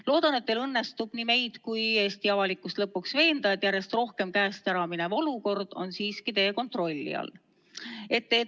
Loodan, et teil õnnestub nii meid kui Eesti avalikkust lõpuks veenda, et järjest rohkem käest ära minev olukord on siiski teie kontrolli all.